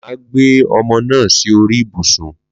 Mà á gbé ọmọ náà sí orí ibùsùn